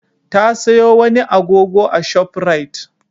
Ta sayo wani agogo a Shop Rite.